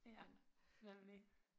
Ja nemlig